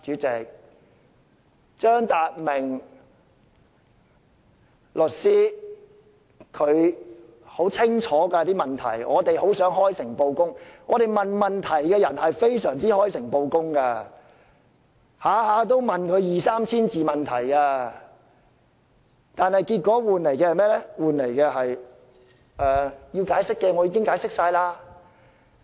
張達明律師提出的問題很清楚，我們提出問題的人都開誠布公，每次提問往往二三千字，但換來的回應只是："要解釋的已經解釋過了。